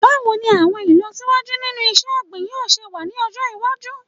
Báwo ni àwọn ìlọsíwájú nínú iṣẹ́-ọ̀gbìn yóò se wà ní ọjọ́ iwájú?